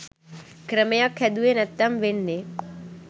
ක්‍රමයක් හැදුවෙ නැත්නම් වෙන්නේ